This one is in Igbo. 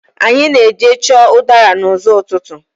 Anyị na-eje chọọ udara n'ụzọ́ ụtụtụ.